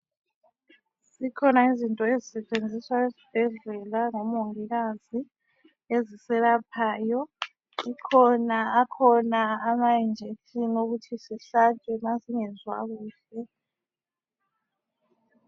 Zikhona izinto ezisetshenziswa esibhedlela ngomongikazi eziselaphayo. Kukhona akhona ama injection okuthi sihlatshwe masingezwa kuhle.